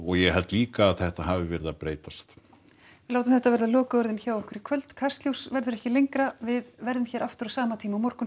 ég held líka að þetta hafi verið að breytast við látum þetta verða lokaorðin hjá okkur í kvöld Kastljós verður ekki lengra við verðum aftur á sama tíma á morgun